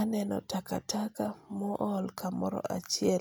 aneno takataka ma ohol kamoro achiel.